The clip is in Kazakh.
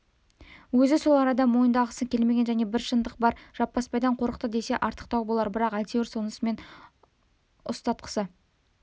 өзі сол арада мойындағысы келмеген және бір шындық бар жаппасбайдан қорықты десе артықтау болар бірақ әйтеуір сонымен ұстасқысы